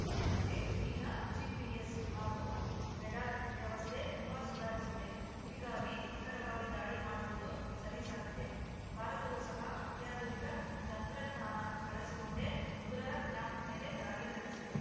ಆದರೆ ಈಗ ಜಿಪಿಸ್‌ ಹಾಗೂ ರೆಡಾರ್‌ ವ್ಯವಸ್ಥೆ ತುಂಬಾ ಸುಧಾರಿಸಿದೆ ಹೀಗಾಗಿ ನಿಖರವಾಗಿ ದಾಳಿ ಮಾಡುವುದು ಸಲೀಸಾಗಿದೆ ಭಾರತವು ಸಹ ಅತ್ಯಾಧುನಿಕ ತಂತ್ರಜ್ಞಾನ ಬಳಸಿಕೊಂಡೇ ಉಗ್ರರ ಕ್ಯಾಂಪ್‌ ಮೇಲೆ ದಾಳಿ ನಡೆಸಿದೆ